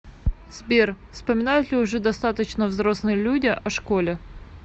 сбер вспоминают ли уже достаточно взрослые люди о школе